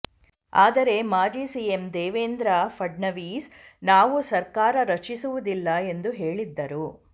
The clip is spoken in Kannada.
ಆದರೆ ಮಾಜಿ ಸಿಎಂ ದೇವೇಂದ್ರ ಫಡ್ನವೀಸ್ ನಾವು ಸರ್ಕಾರ ರಚಿಸುವುದಿಲ್ಲ ಎಂದು ಹೇಳಿದ್ದರು